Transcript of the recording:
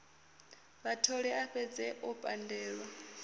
vhatholi a fhedze o pandelwa